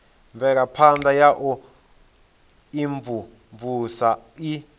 mvelaphana ya u imvumvusa i